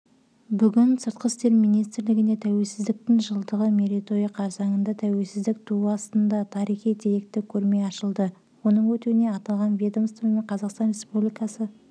бүгін сыртқы істер министрлігінде тәуелсіздіктің жылдығы мерейтойы қарсаңында тәуелсіздік туы астында тарихи-деректі көрме ашылды оның өтуіне аталған ведомство мен қазақстан республикасы